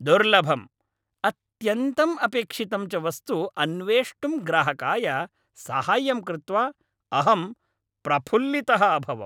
दुर्लभम्, अत्यन्तम् अपेक्षितं च वस्तु अन्वेष्टुं ग्राहकाय साहाय्यं कृत्वा अहं प्रफुल्लितः अभवम्।